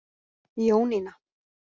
Jónína